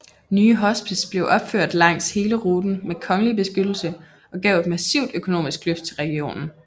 Nye hospice blev opført langs hele ruten med kongelig beskyttelse og gav et massivt økonomisk løft til regionen